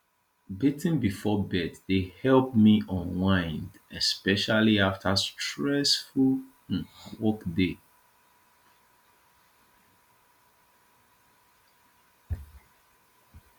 bathing before bed dey help me unwind especially after stressful um workday